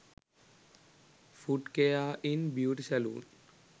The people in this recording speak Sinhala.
foot care in beauty saloon